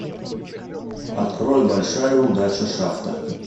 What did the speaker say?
открой большая удача шафта